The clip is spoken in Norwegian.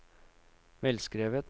velskrevet